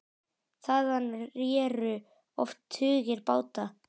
Þaðan réru oft tugir báta.